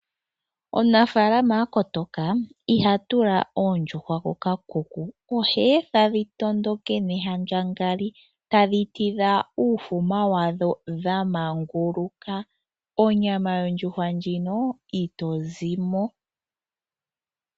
Omunafaalama akotoka ihatula oondjuhwa koka kuku oheetha dhitondoke nehandjangali tadhi tidha uufuma wadho dhamanguluka, onyama yondjuhwa ndjino ito zimo.